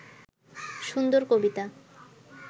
সুন্দর কবিতা